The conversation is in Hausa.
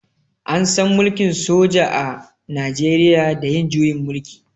An san mulkin soja a najeriya da yin juyin mulki.